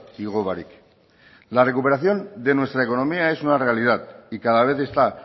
igo barik la recuperación de nuestra economía es una realidad y cada vez está